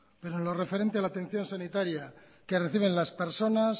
pero en lo referente a la atención sanitaria que reciben las personas